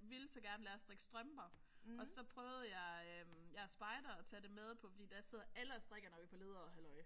ville så gerne lære at strikke strømper og så prøvede jeg jeg er spejder at tage det på med fordi der sidder alle og strikker når vi er på lederhalløj